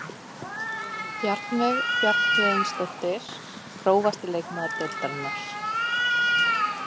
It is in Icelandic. Bjarnveig Bjarnhéðinsdóttir Grófasti leikmaður deildarinnar?